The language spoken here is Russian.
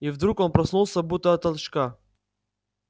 и вдруг он проснулся будто от толчка